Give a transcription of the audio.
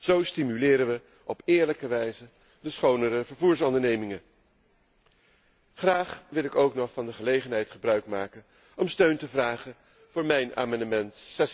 Zo stimuleren we op eerlijke wijze schonere vervoersondernemingen. Graag wil ik ook nog van de gelegenheid gebruikmaken om steun te vragen voor mijn amendement